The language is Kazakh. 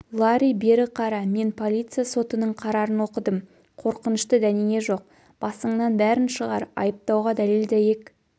ларри бері қара мен полиция сотының қарарын оқыдым қорқынышты дәнеңе жоқ басыңнан бәрін шығар айыптауға дәлел-дәйек